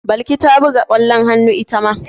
Balki ta buga ƙwallon hannu ita ma.